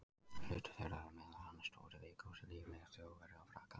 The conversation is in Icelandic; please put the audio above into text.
Hlutur þeirra er meðal annars stór í leikhúslífi Þjóðverja og Frakka.